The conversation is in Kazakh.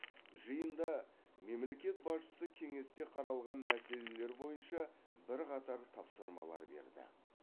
жиында мемлекет басшысы кеңесте қаралған мәселелер бойынша бірқатар тапсырмалар берді